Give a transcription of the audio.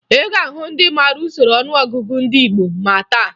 Ị ga-ahụ ndị mara usoro ọnụọgụgụ ndị gboo ma taa